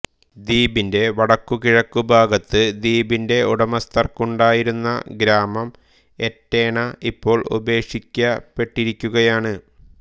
ദ്വീപിന്റെ വടക്കുകിഴക്കുഭാഗത്ത് ദ്വീപിന്റെ ഉടമസ്ഥർക്കുണ്ടായിരുന്ന ഗ്രാമം എറ്റേണ ഇപ്പോൾ ഉപേക്ഷിക്കപ്പെട്ടിരിക്കുകയാണ്